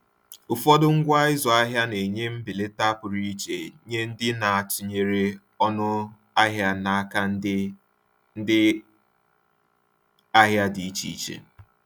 Ụfọdụ ngwa ịzụ ahịa na-enye mbelata pụrụ iche nye ndị na-atụnyere ọnụ ahịa n’aka ndị ndị ahịa dị iche iche.